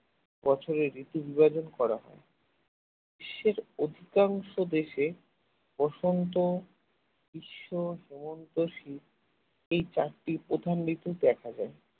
বছরের ঋতু বিভাজন করা হয় বিশ্বের অধিকাংশ দেশে বসন্ত গ্রীষ্ম হেমন্ত শীত এই চারটি প্রধান ঋতু দেখা যায়।